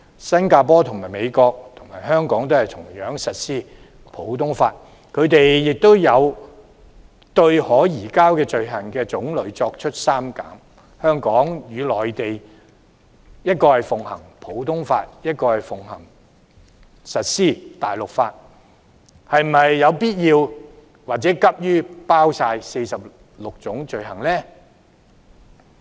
新加坡和美國，與香港同樣實施普通法，他們有對可移交的罪種作出刪減，香港與內地分別奉行普通法和大陸法，是否有必要或急於包括全部46種罪類？